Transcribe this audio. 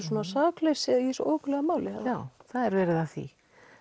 sakleysi í þessu óhuggulega máli já það er verið að því